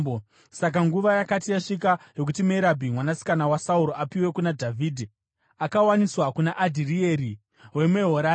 Saka nguva yakati yasvika yokuti Merabhi, mwanasikana waSauro, apiwe kuna Dhavhidhi, akawaniswa kuna Adhirieri weMehorati.